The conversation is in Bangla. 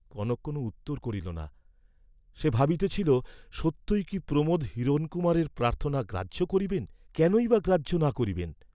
কনক কোন উত্তর করিল না, সে ভাবিতেছিল সত্যই কি প্রমোদ হিরণকুমারের প্রার্থনা গ্রাহ্য করিবেন, কেনই বা গ্রাহ্য না করিবেন?